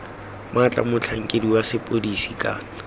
maatla motlhankedi wa sepodisi kana